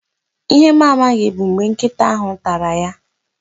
Ihe m amaghị bụ mgbe nkịta ahụ tara ya